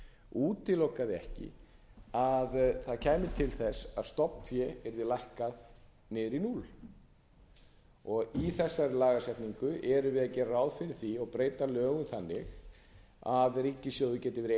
útilokaði ekki að það kæmi til þess að stofnfé yrði lækkað niður í núll í þessari lagasetningu erum við að gera ráð fara því og breyta lögum þannig að ríkissjóður geti verið eini eigandi